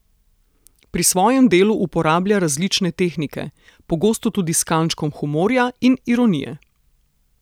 Pri svojem delu uporablja različne tehnike, pogosto tudi s kančkom humorja in ironije.